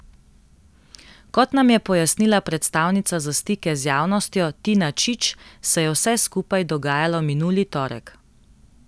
Kot nam je pojasnila predstavnica za stike z javnostjo Tina Čič, se je vse skupaj dogajalo minuli torek.